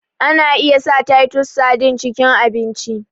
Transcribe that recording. Ana iya sa titus sardine cikin abinci